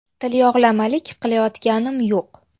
Tilyog‘lamalik qilayotganim yo‘q.